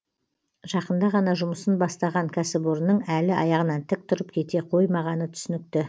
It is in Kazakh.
жақында ғана жұмысын бастаған кәсіпорынның әлі аяғынан тік тұрып кете қоймағаны түсінікті